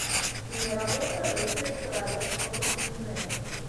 киноработа рыцари королевства крутизны